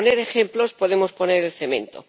Por poner ejemplos, podemos poner el cemento.